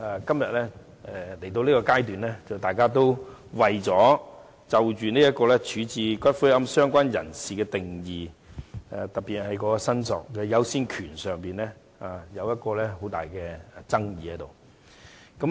不過，今天來到這個階段，大家就處置骨灰的"相關人士"的定義、特別是在申索優先權方面有很大爭議。